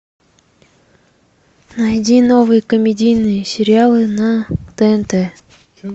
найди новые комедийные сериалы на тнт